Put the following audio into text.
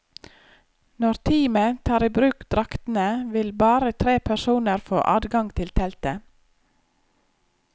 Når teamet tar i bruk draktene, vil bare tre personer få adgang til teltet.